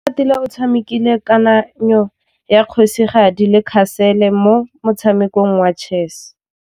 Oratile o tshamekile kananyô ya kgosigadi le khasêlê mo motshamekong wa chess.